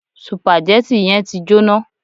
Sùpàgẹ́tì yẹn ti jóná.